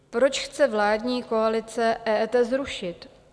Proč chce vládní koalice EET zrušit?